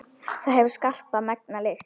Það hefur skarpa, megna lykt.